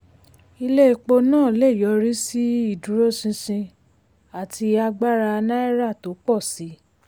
ilé epo náà lè yọrí sí ìdúróṣinṣin àti agbára náírà tó pọ̀ sí i.